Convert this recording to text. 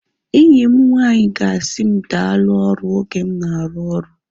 Enyi m nwanyị ga-asị m daalu ọrụ oge m na-arụ oru